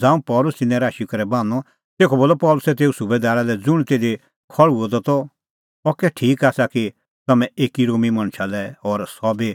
ज़ांऊं पल़सी तिन्नैं राशी करै बान्हअ तेखअ बोलअ पल़सी तेऊ सुबैदारा लै ज़ुंण तिधी खल़्हुअ द त अह कै ठीक आसा कि तम्हैं एकी रोमी मणछा लै और सह बी